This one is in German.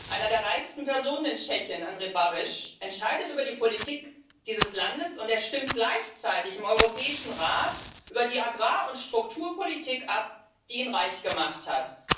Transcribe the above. Eine der reichsten Personen in Tschechien, Andrej Babiš, entscheidet über die Politik dieses Landes, und er stimmt gleichzeitig im Europäischen Rat über die Agrar und Strukturpolitik ab, die ihn reich gemacht hat.